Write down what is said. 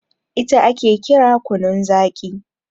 ita ake kira kunun Zaki